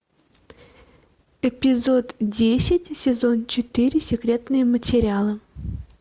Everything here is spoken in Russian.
эпизод десять сезон четыре секретные материалы